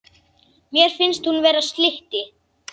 Henni finnst hún vera slytti.